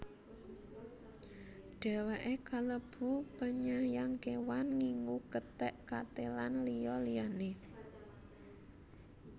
Dheweke kalebu penyayang kewan ngingu kethek kate lan liya liyane